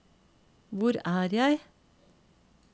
hvor er jeg